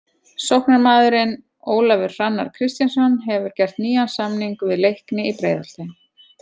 Sóknarmaðurinn Ólafur Hrannar Kristjánsson hefur gert nýjan samning við Leikni í Breiðholti.